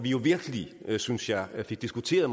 jo virkelig synes jeg fik diskuteret